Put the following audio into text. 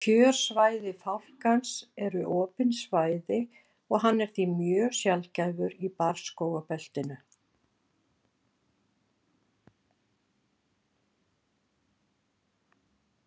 Kjörsvæði fálkans eru opin svæði og hann er því mjög sjaldgæfur í barrskógabeltinu.